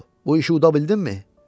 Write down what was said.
Bu işi uda bildinmi?